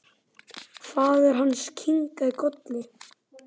Faðir hans kinkaði kolli.